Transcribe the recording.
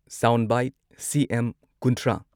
sound bite CM ꯀꯨꯟꯊ꯭ꯔꯥ